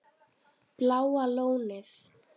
Bláa Lónið